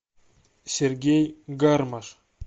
сергей гармаш